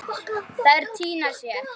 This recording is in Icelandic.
Þær týna sér.